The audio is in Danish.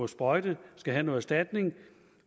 sprøjte skal have noget erstatning